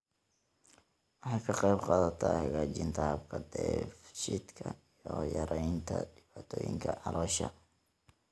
Waxay ka qaybqaadataa hagaajinta habka dheef-shiidka iyo yaraynta dhibaatooyinka caloosha.